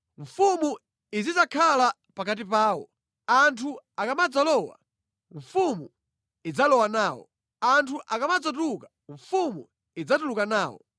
Mfumu izidzakhala pakati pawo. Anthu akamadzalowa mfumu idzalowa nawo. Anthu akamadzatuluka mfumu idzatuluka nawo.